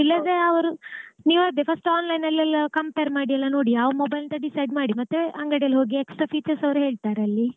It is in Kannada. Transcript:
ಇಲ್ಲಾಂದ್ರೆ ಅವರು ನೀವ್ ಅದೇ first online ಲೆಲ್ಲಾ compare ಮಾಡಿ ಎಲ್ಲ ನೋಡಿ ಯಾವ mobile ಅಂತ decide ಮಾಡಿ ಮತ್ತೆ ಅಂಗಡೀಲಿ ಹೋಗಿ extra features ಅವರೇ ಹೇಳ್ತಾರೆ ಅಲ್ಲಿ.